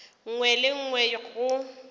nngwe le ye nngwe go